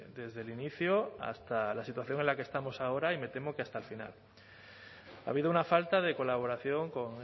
desde el inicio hasta la situación en la que estamos ahora y me temo que hasta el final ha habido una falta de colaboración con